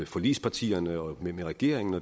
forligspartierne og med regeringen